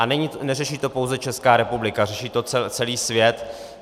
A neřeší to pouze Česká republika, řeší to celý svět.